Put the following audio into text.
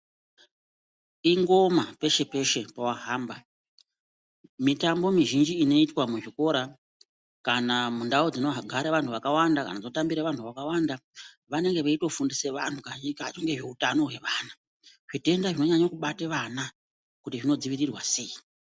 Ingoma peshe peshe pawahamba mitambo mizhinji inoitwa muzvikora kana mundau dzinogare vantu vakawanda kana dzinotambire vantu vakawanda vanenge veitofundisa vanhu kazhinji kacho ngezveutano hwevana zvitenda zvinonyanya kubata vana kuti zvinodzivirirwa sei.